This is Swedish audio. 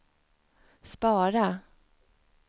spara